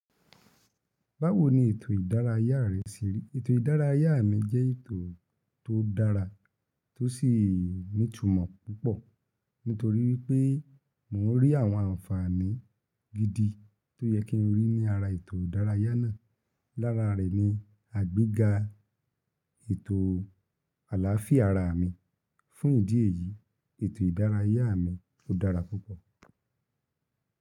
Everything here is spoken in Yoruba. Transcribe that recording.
Báwo ni ètò ìdárayá rẹ ṣe rí? Ètò ìdárayá mi jẹ́ ètò tó dára tó sì ní ìtumọ̀ púpọ̀ nítorí wípé mo ń rí àwọn àǹfààní gidi tó yẹ kí n rí ní ara ètò ìdárayá náà. Lára re ni, àgbéga ètò alaafia ara mí. Fún ìdí èyí, ètò ìdárayá mi ó dára púpọ̀.